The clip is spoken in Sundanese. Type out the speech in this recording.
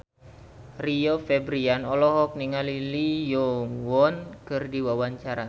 Rio Febrian olohok ningali Lee Yo Won keur diwawancara